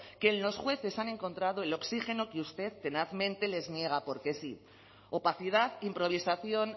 que en los jueces han encontrado el oxígeno que usted tenazmente les niega porque sí opacidad improvisación